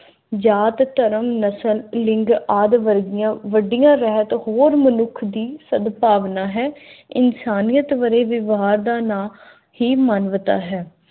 ਜਾਤ, ਧਰਮ, ਨਸਲ, ਲਿੰਗ ਆਦਿ ਵਰਗੀਆਂ ਵੱਡੀਆਂ ਰਹਿਤ ਹੋਰ ਮਨੁੱਖ ਦੀ ਸਦਭਾਵਨਾ ਹੈ। ਇਨਸਾਨੀਅਤ ਵਰੇ ਵਿਵਹਾਰ ਦਾ ਨਾ ਹੀ ਮਾਨਵਤਾ ਹੈ।